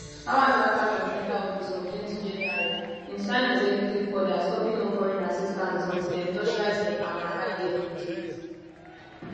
hours afta trump enta office ontwentyjanuary im sign executive order stopping all foreign assistance until dem torchlight dem and align dem wit wit